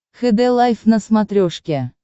хд лайф на смотрешке